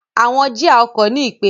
Àwọn jía ọkọ̀ ní ipele.